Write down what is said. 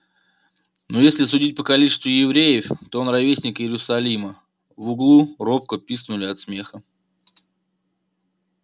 ну если судить по количеству евреев то он ровесник иерусалима в углу робко пискнули от смеха